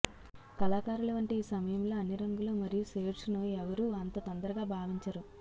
కళాకారులు వంటి ఈ సమయంలో అన్ని రంగులు మరియు షేడ్స్ను ఎవరూ అంత తొందరగా భావించరు